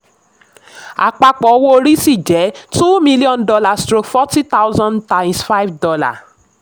àpapọ̀ owó orí ṣì jẹ́ two million stroke forty thousand dollar times five